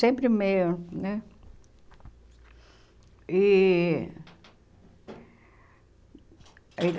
Sempre meio, né? E